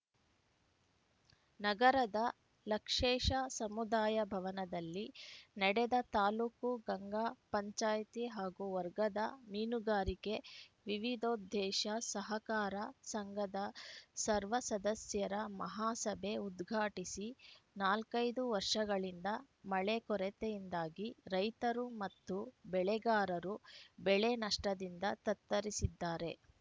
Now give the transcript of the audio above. ನಗರದ ಲಕ್ಷೇಶ ಸಮುದಾಯ ಭವನದಲ್ಲಿ ನಡೆದ ತಾಲೂಕು ಗಂಗಾ ಪಂಚಾಯಿತಿ ಹಾಗೂ ವರ್ಗದ ಮೀನುಗಾರಿಕೆ ವಿವಿಧೋದ್ದೇಶ ಸಹಕಾರ ಸಂಘದ ಸರ್ವ ಸದಸ್ಯರ ಮಹಾಸಭೆ ಉದ್ಘಾಟಿಸಿ ನಾಲ್ಕೈದು ವರ್ಷಗಳಿಂದ ಮಳೆ ಕೊರತೆಯಿಂದಾಗಿ ರೈತರು ಮತ್ತು ಬೆಳೆಗಾರರು ಬೆಳೆ ನಷ್ಟದಿಂದ ತತ್ತರಿಸಿದ್ದಾರೆ